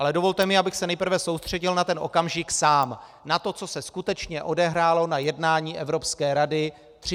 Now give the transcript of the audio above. Ale dovolte mi, abych se nejprve soustředil na ten okamžik sám, na to, co se skutečně odehrálo na jednání Evropské rady 30. srpna.